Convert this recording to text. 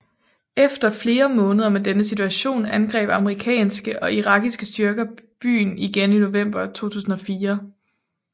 Efter flere måneder med denne situation angreb amerikanske og irakiske styrker byen igen i november 2004